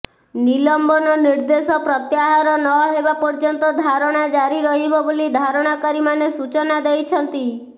ନିଲମ୍ବନ ନିର୍ଦେଶ ପ୍ରତ୍ୟାହାର ନହେବା ପର୍ୟ୍ୟନ୍ତ ଧାରଣା ଜାରି ରହିବ ବୋଲି ଧରଣା କାରୀମାନେ ସୂଚନା ଦେଇଛନ୍ତି